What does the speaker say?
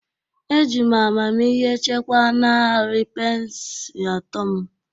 Eji m amamihe chekwaa narị pence atọ m